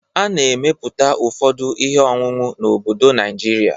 A na-emeputa ụfọdụ ihe ọṅụṅụ n'obodo Najịrịa.